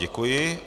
Děkuji.